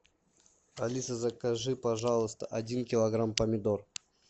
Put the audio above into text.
алиса закажи пожалуйста один килограмм помидор